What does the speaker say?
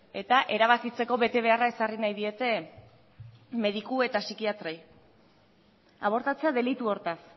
eta erabakitzeko betebeharra ezarri nahi diete mediku eta psikiatrei abortatzea delitu hortaz